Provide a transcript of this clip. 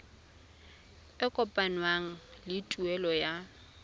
e kopanngwang le tuelo ya